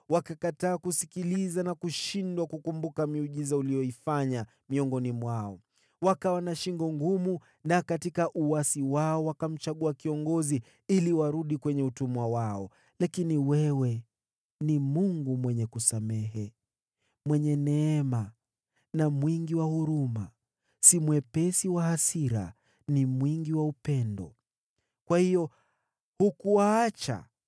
Wakakataa kusikiliza na kushindwa kukumbuka miujiza uliyoifanya miongoni mwao. Wakawa na shingo ngumu, na katika uasi wao wakamchagua kiongozi ili warudi kwenye utumwa wao. Lakini wewe ni Mungu mwenye kusamehe, mwenye neema na mwingi wa huruma, si mwepesi wa hasira, ni mwingi wa upendo. Kwa hiyo hukuwaacha,